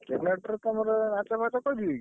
Generator ତମର ନାଚ ଫାଚ କରିବେ କି?